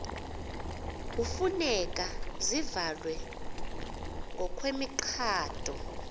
hufuneka zivalwe ngokwemigaqo